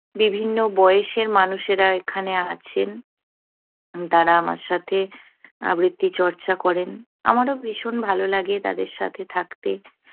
বিভিন্ন বয়েসের মানুষেরা এখানে আছেন। তারা আমার সাথে আবৃত্তি চর্চা করেন। আমারও ভীষণ ভালোলাগে তাদের সাথে থাকতে।